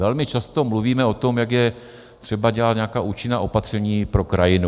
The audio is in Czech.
Velmi často mluvíme o tom, jak je třeba dělat nějaká účinná opatření pro krajinu.